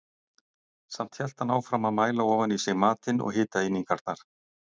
Samt hélt hann áfram að mæla ofan í sig matinn og hitaeiningarnar.